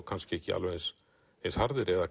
kannski ekki eins eins harðir eða